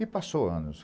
E passou anos.